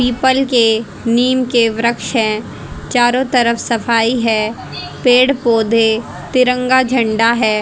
People के नीम के वृक्ष है चारों तरफ सफाई है पेड़ पौधे तिरंगा झंडा है।